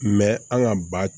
an ka ba